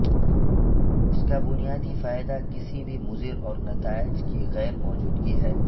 اس کا بنیادی فائدہ کسی بھی مضر اور نتائج کی غیر موجودگی ہے